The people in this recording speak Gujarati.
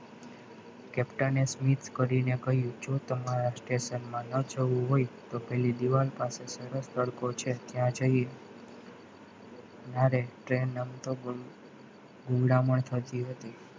captain smith કરીને કહ્યું તો તમારા જ captain માં ના જવું હોય તો પહેલી દીવાલ પાસે જરાક તડકો છે તો ત્યાં જઈએ ના train અમથો ગુમરામણ થતી હતી.